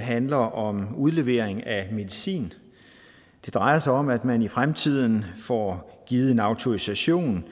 handler om udlevering af medicin det drejer sig om at man i fremtiden får givet en autorisation